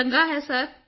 ਚੰਗਾ ਹੈ ਸਰ